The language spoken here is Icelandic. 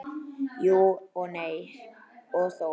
Jú og nei og þó.